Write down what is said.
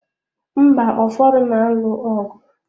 Mba ụfọdụ na-alụ ọgụ.